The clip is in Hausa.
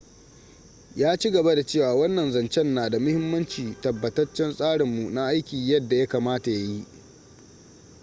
ya ci gaba da cewa wannan zancen na da muhimmanci. tabbatace tsarinmu na aiki yadda ya kamata ya yi.